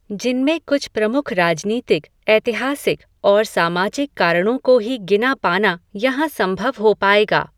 जिनमेँ कुछ प्रमुख राजनीतिक, ऐतिहासिक, और सामाजिक कारणोँ को ही, गिना पाना, यहाँ सम्भव हो पायेगा